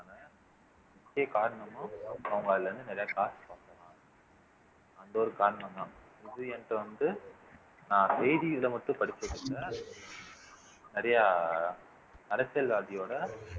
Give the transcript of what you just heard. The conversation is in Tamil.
முக்கிய காரணமும் அவங்க அதுல இருந்து நிறைய காசு பார்க்கலாம் அந்த ஒரு காரணம்தான் இது என்கிட்ட வந்து நான் செய்தி இது மட்டும் படிச்சுட்டு நிறையா அரசியல்வாதியோட